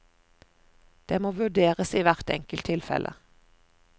Det må vurderes i hvert enkelt tilfelle.